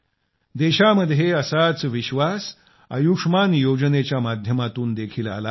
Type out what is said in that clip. देशात असाच विश्वास आयुष्मान योजने च्या माध्यमातून देखील आला आहे